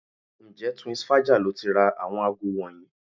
Ǹjẹ́ Twinsfaja lo ti ra àwọn aago wọ̀nyí?